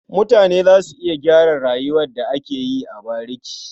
Mutane za su iya gyara rayuwar da ake yi a bariki.